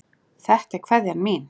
Þetta er kveðjan mín.